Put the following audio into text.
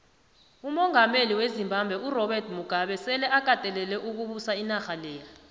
umongameli wezimbabwe urobert mugabe sele akatelele ukubusa inarha leya